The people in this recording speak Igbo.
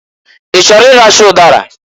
I chọrọ ịracha ụdara?